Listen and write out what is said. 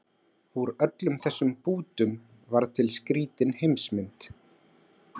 Úr öllum þessum bútum varð til skrýtin heimsmynd